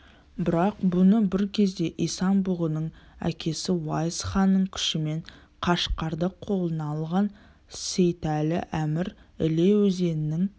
бірақ бұны бір кезде исан-бұғының әкесі уайс ханның күшімен қашқарды қолына алған сейтәлі әмір іле өзенінің